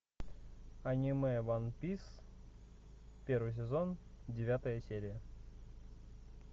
аниме ван пис первый сезон девятая серия